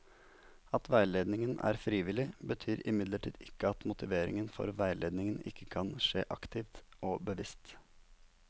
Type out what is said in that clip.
At veiledningen er frivillig, betyr imidlertid ikke at motivering for veiledning ikke kan skje aktivt og bevisst.